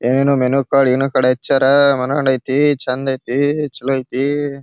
ಏನೋನೋ menu card ಅಚ್ಚರ ಮನೋಹರ ಐತೆ ಚಂದ್ ಐತೆ ಚಲೋ ಐತೆ.